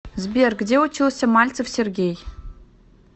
сбер где учился мальцев сергей